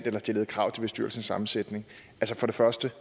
eller stillede krav til bestyrelsens sammensætning for det første